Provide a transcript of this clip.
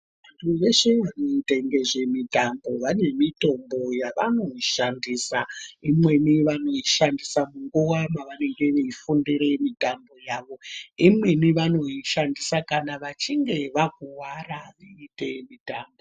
Veshe vanoita ngezvemutambo vane mitombo yavanoshandisa. Imweni vanoishandisa nguva pavanenge veifundire mitambo,. Imweni vanoishancdisa kana vachinge vakuwara vachiite mitambo.